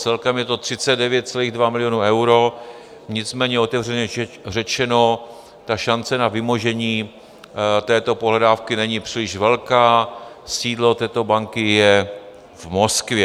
Celkem je to 39,2 milionů eur, nicméně otevřeně řečeno, šance na vymožení této pohledávky není příliš velká, sídlo této banky je v Moskvě.